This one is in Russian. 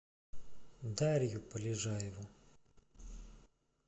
дарью полежаеву